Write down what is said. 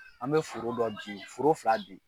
An bɛ foro dɔ bin foro fila bin.